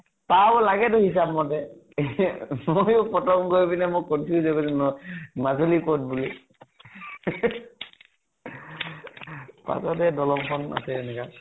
পাৰ হব লাগে তো হিচাপ মতে। ময়ো প্ৰথম গৈ পিনে মই confuse হৈ গৈছো ন মাজুলি কʼত বুলি। পাছত হে দলং খন আছে এনেকা